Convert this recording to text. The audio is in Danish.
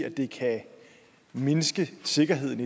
at det kan mindske sikkerheden